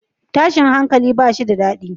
Tashin hankali bashi da dadi